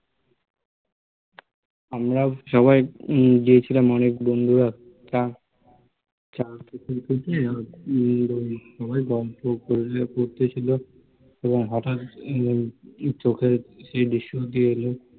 আমরা সবাই গিয়েছিলাম অনেক বন্ধুরা চা খেতে খেতে হচ্ছে সবাই গল্প করতেছিল এবং হঠাত চোখে এই দৃশ্য ভেসে এলো